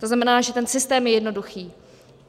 To znamená, že ten systém je jednoduchý.